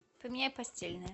поменяй постельное